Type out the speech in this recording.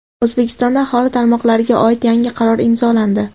O‘zbekistonda aholi tomorqalariga oid yangi qaror imzolandi.